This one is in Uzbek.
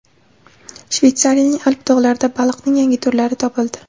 Shveysariyaning Alp tog‘laridan baliqning yangi turlari topildi.